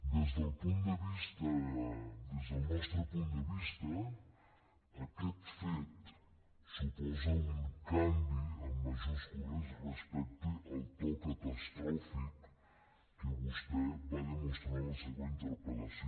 des del nostre del punt de vista aquest fet suposa un canvi en majúscules respecte al to catastròfic que vostè va demostrar en la seva interpel·lació